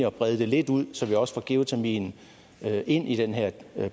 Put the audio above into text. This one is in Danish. at brede det lidt ud så vi også får geotermien ind i den her